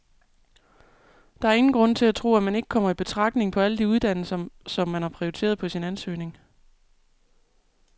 Der er ingen grund til at tro, at man ikke kommer i betragtning på alle de uddannelser, som man har prioriteret på sin ansøgning.